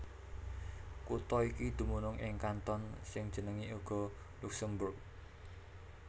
Kutha iki dumunung ing kanton sing jenengé uga Luksemburg